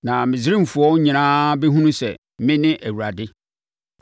Na Misraimfoɔ nyinaa bɛhunu sɛ, mene Awurade.”